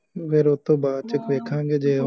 ਫੇਰ ਉਹਦੇ ਤੋਂ ਬਾਅਦ ਚ ਦੇਖਾਂਗੇ ਜੇ ਉਹ